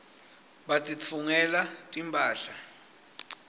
batitfungela timphahla